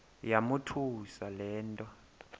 yamothusa le nto